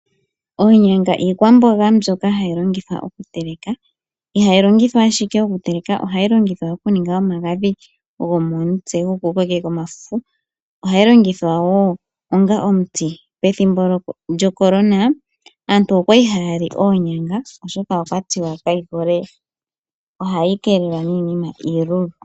Oonyanga iikwamboga mbyoka hayi longithwa okutelekwa. Ihayi longithwa ashike okuteleka, ohayi longithwa okuninga omagadhi go momutse go ku kokeka omafufu. Ohayi longithwa wo onga omuti. Pethimbo lyoCorona, aantu okwali haya li oonyanga oshoka okwa tiwa ohayi keelelwa niinima iilulu.